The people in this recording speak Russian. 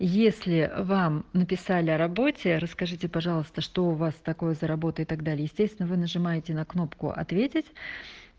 если вам написали о работе расскажите пожалуйста что у вас такое за работа и так далее естественно вы нажимаете на кнопку ответить